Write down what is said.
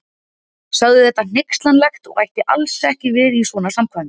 Sagði þetta hneykslanlegt og ætti alls ekki við í svona samkvæmi.